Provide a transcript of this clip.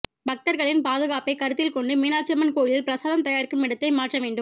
பக்தர்களின் பாதுகாப்பை கருத்தில் கொண்டு மீனாட்சியம்மன் கோயிலில் பிரசாதம் தயாரிக்கும் இடத்தை மாற்ற வேண்டும்